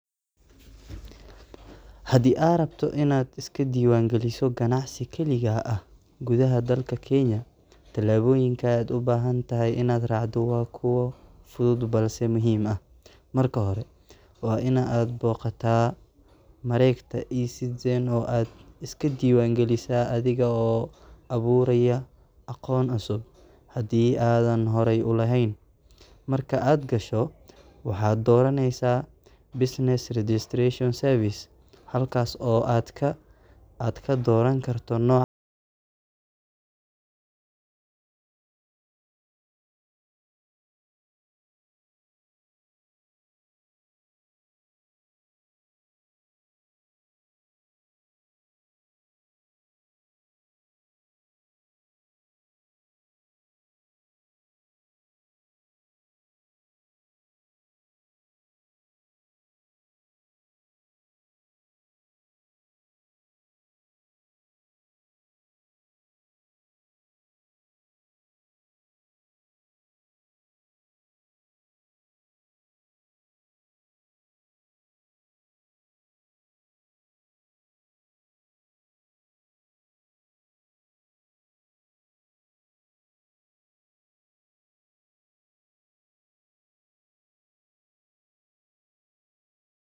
Haddii aad rabto inaad iska diiwaangeliso ganacsi kaligaa ah gudaha dalka Kenya, tallaabooyinka aad u baahan tahay inaad raacdo waa kuwo fudud balse muhiim ah. Marka hore, waa in aad booqataa mareegta eCitizen oo aad iska diiwaangelisaa adiga oo abuuraya akoon cusub haddii aadan horey u lahayn. Marka aad gasho, waxaad dooranaysaa "halkaas oo aad ka dooran karto nooca ganacsiga aad rabto, oo ah "Sole Proprietorship." Tallaabada xigta waa in aad sameysaa baaritaan magaca ganacsiga si loo hubiyo in magaca aad dooratay uusan horey loo isticmaalin. Haddii magaca la oggolaado, waxaad buuxinaysaa foomamka diiwaangelinta adiga oo gelinaya xogta muhiimka ah sida magaca ganacsiga, meesha uu ka howlgalayo, iyo nooca adeeg ama badeeco aad bixin doonto. Ka dib, waxaad bixinaysaa khidmadaha rasmiga ah ee diiwaangelinta, taas oo lagu bixin karo si elektaroonig ah. Ugu dambeyntii, haddii dhammaan xogtaadu sax tahay, waxaad heli doontaa shahaadada diiwaangelinta ganacsigaaga. Tani waxay kuu oggolaaneysaa inaad si sharci ah uga ganacsato gudaha Kenya.